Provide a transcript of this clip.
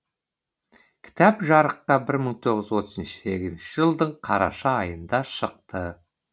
кітап жарыққа бір мың тоғыз жүз отыз сегізінші жылдың қараша айында шықты